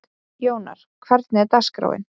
Jónar, hvernig er dagskráin?